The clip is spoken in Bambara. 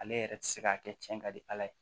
Ale yɛrɛ ti se ka kɛ cɛn ka di ala ye